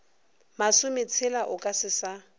masometshela o ka se sa